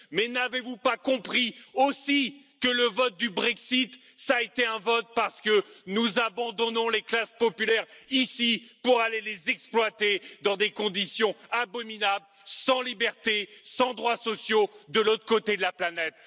Mais n'avez vous pas compris aussi que le Brexit a été voté parce que nous abandonnons les classes populaires ici pour aller les exploiter dans des conditions abominables sans liberté, sans droits sociaux, de l'autre côté de la planète?